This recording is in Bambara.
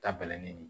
Ta bɛlɛnin de